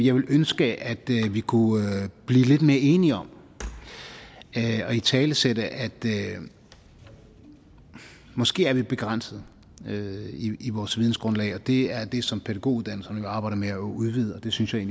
ønske at vi kunne blive lidt mere enige om at italesætte at vi måske er begrænset i vores vidensgrundslag det er jo det som pædagoguddannelserne arbejder med at udvide og det synes jeg